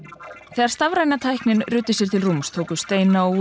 þegar stafræna tæknin ruddi sér til rúms tóku steina og